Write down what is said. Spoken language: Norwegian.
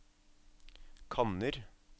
kanner